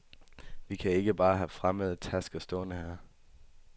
Vi kan ikke bare have fremmede tasker stående her.